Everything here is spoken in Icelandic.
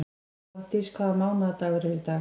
Hafdís, hvaða mánaðardagur er í dag?